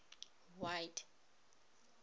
white